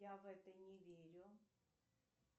я в это не верю